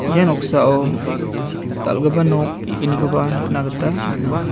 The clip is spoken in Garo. ia noksao dal·gipa nok ge·gnikoba nikna gita man·a.